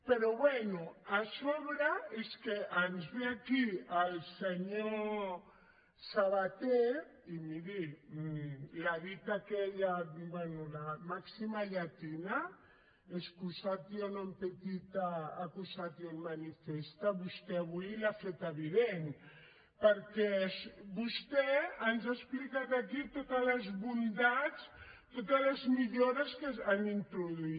però bé a sobre és que ens ve aquí el senyor sabaté i miri la dita aquella bé la màxima llatina excusatio non petita accusatio manifesta vostè avui l’ha feta evident perquè vostè ens ha explicat aquí totes les bondats totes les millores que han introduït